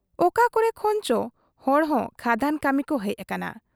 ᱚᱠᱟ ᱠᱚᱨᱮ ᱠᱷᱚᱱ ᱪᱚ ᱦᱚᱲ ᱦᱚᱸ ᱠᱷᱟᱫᱟᱱ ᱠᱟᱹᱢᱤ ᱠᱚ ᱦᱮᱡ ᱟᱠᱟᱱᱟ ᱾